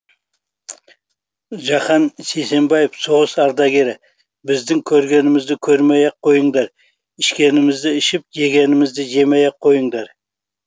жахан сейсенбаев соғыс ардагері біздің көргенімізді көрмей ақ қойыңдар ішкенімізді ішіп жегенімізді жемей ақ қойыңдар